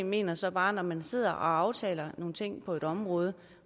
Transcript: mener så bare at når man sidder og aftaler nogle ting på et område